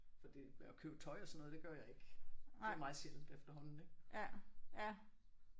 Fordi at købe tøj og sådan noget det gør jeg ikke. Det er meget sjældent efterhånden ik?